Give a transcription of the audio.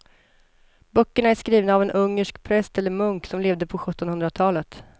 Böckerna är skrivna av en ungersk präst eller munk som levde på sjuttonhundratalet.